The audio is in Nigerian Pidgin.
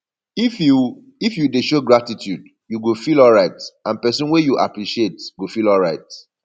if you if you de show gratitude you go feel alright and persin wey you appreciate go feel alright